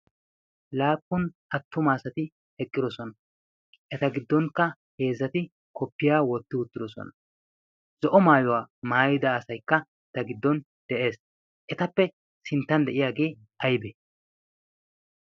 laappun attumaasati eqqidosona. eta giddonkka heezzati koppiyaa wotti uttidosona. zo'o maayuwaa maayida asaykka eta giddon de'ees. etappe sinttan de'iyaagee aybee?